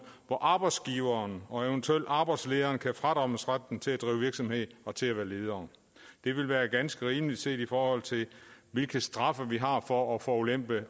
hvor arbejdsgiveren og eventuelt arbejdslederen kan fradømmes retten til at drive virksomhed og til at være leder det vil være ganske rimeligt set i forhold til hvilke straffe vi har for at forulempe